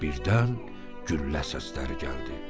Birdən güllə səsləri gəldi.